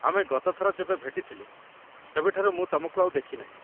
ଆମେ ଗତଥର ଯେବେ ଭେଟିଥିଲେ, ସେବେଠାରୁ ମୁଁ ତମକୁ ଆଉ ଦେଖିନାହିଁ